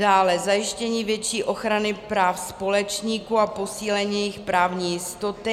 Dále zajištění větší ochrany práv společníků a posílení jejich právní jistoty.